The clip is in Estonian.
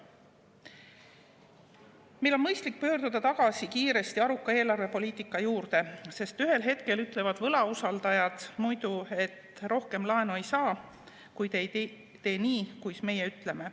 Meil on mõistlik pöörduda kiiresti tagasi aruka eelarvepoliitika juurde, sest muidu ütlevad võlausaldajad ühel hetkel, et rohkem laenu ei saa, kui te ei tee nii, kuis meie ütleme.